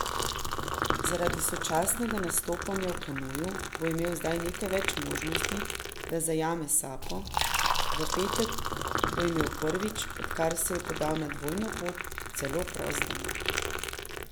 Zaradi sočasnega nastopanja v kanuju bo imel zdaj nekaj več možnosti, da zajame sapo, v petek bo imel prvič, odkar se je podal na dvojno pot, celo prost dan.